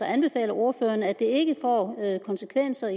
anbefaler ordføreren at det ikke får konsekvenser